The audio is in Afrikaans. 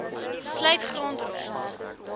sluit grond rots